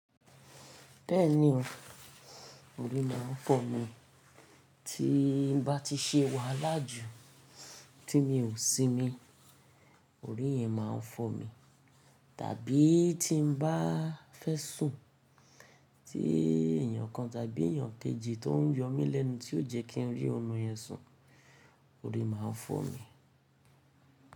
Bẹ́ẹ̀ni o, orí máa ń fọ́ mi. Tí n bá ti ṣe wàhálà jù tí mi ò sinmi, orí yẹn máa ń fọ́ mi. Tàbí tí n bá fẹ́ sùn tí èyàn kan tàbí èyàn kejì tó ń yọ mí lẹ́nu tí yóò jẹ́ kí n rí ọmọ yẹn sùn, orí máa ń fọ́ mi.